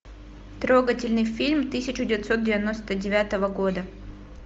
трогательный фильм тысяча девятьсот девяносто девятого года